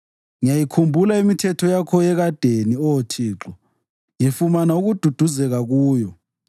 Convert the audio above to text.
Ngiyayikhumbula imithetho yakho yekadeni, Oh Thixo, ngifumana ukududuzeka kuyo.